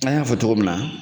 An y'a fɔ cogo min na